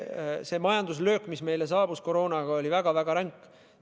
See majanduslöök, mis meile koroonaga saabus, oli väga-väga ränk.